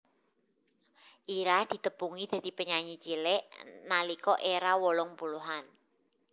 Ira ditepungi dadi penyanyi cilik nalika éra wolung puluhan